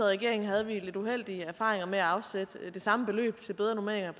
regering havde vi lidt uheldige erfaringer med at afsætte det samme beløb til bedre normeringer